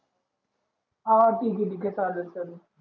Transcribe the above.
हां ठीके ठीके चालेल